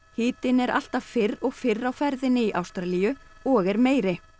hitinn er alltaf fyrr og fyrr á ferðinni í Ástralíu og er meiri á